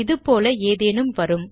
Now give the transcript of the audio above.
இது போல ஏதேனும் வரும்